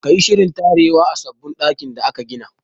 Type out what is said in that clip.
Ka yi shirin tarewa a sabon ɗakin da aka gina!